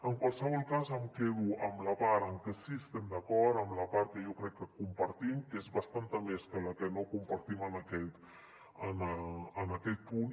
en qualsevol cas em quedo amb la part en què sí que estem d’acord amb la part que jo crec que compartim que és bastanta més que la que no compartim en aquest punt